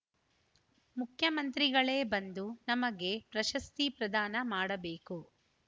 ಮುಖ್ಯಮಂತ್ರಿಗಳೇ ಬಂದು ನಮಗೆ ಪ್ರಶಸ್ತಿ ಪ್ರದಾನ ಮಾಡಬೇಕು